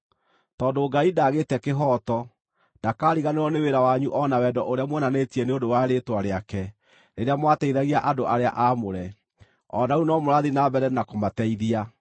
Tondũ Ngai ndaagĩte kĩhooto; ndakaariganĩrwo nĩ wĩra wanyu o na wendo ũrĩa muonanĩtie nĩ ũndũ wa rĩĩtwa rĩake rĩrĩa mwateithagia andũ arĩa aamũre, o na rĩu no mũrathiĩ na mbere na kũmateithia.